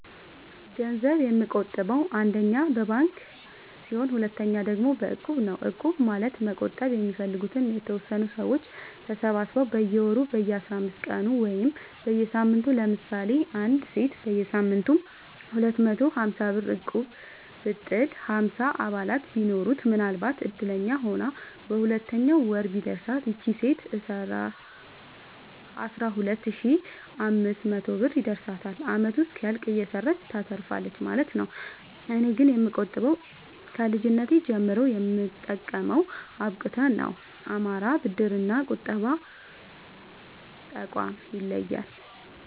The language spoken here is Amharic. ገንዘብ የምቆ ጥበው አንደኛ በባንክ ሲሆን ሁለተኛ ደግሞ በእቁብ ነው እቁብ ማለት መቁጠብ የሚፈልጉ የተወሰኑ ሰዎች ተሰባስበው በየወሩ በየአስራአምስት ቀኑ ወይም በየሳምንቱ ለምሳሌ አንዲት ሴት በየሳምንቱ ሁለት መቶ ሀምሳብር እቁብጥል ሀምሳ አባላት ቢኖሩት ምናልባትም እድለኛ ሆና በሁለተኛው ወር ቢደርሳት ይቺ ሴት አስራሁለት ሺ አምስት መቶ ብር ይደርሳታል አመቱ እስኪያልቅ እየሰራች ታተርፋለች ማለት ነው። እኔ ግን የምቆጥበው ከልጅነቴ ጀምሮ የምጠቀመው አብቁተ ነው። አማራ ብድር እና ቁጠባ ጠቋም ይለያል።